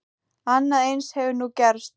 Annað eins hefur nú gerst.